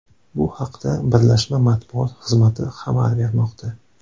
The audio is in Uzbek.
Bu haqda birlashma matbuot xizmati xabar bermoqda.